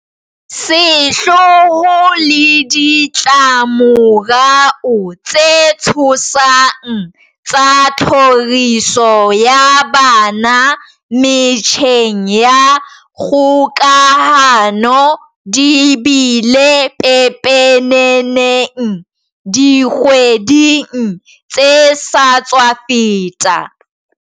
Sehloho le ditla-morao tse tshosang tsa tlhoriso ya bana metjheng ya kgokahano di bile pepeneneng dikgweding tse sa tswa feta.